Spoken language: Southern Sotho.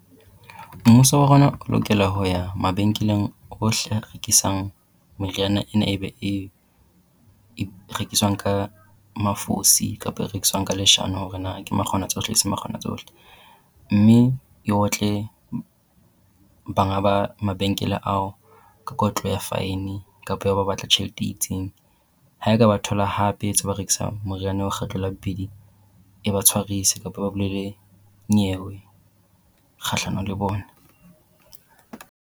Mmuso wa rona o lokela ho ya mabenkeleng ohle a rekisang meriana ena e rekiswang ka mafosi kapa e rekiswang ka leshano hore na ke makgona tsohle e se makgona tsohle. Mme e otle banga ba mabenkele ao ka kotlo ya fine kapa ya ho ba batla tjhelete e itseng. Ha e ka ba thola hape ntse ba rekisa moriana oo kgetlo la bobedi e ba tshwarise kapo e ba bulele nyewe kgahlanong le bona.